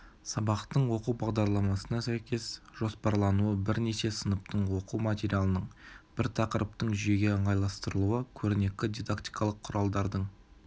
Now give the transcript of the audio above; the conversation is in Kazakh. сабақтың оқу бағдарламасына сәйкес жоспарлануы бірнеше сыныптың оқу материалының бір тақырыптың жүйеге ыңғайластырылуы көрнекі дидактикалық құралдардың